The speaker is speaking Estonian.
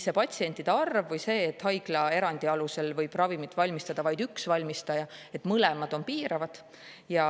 Nii patsientide arv kui ka see, et haiglaerandi alusel võib ravimit valmistada vaid üks valmistaja, on mõlemad piiravad.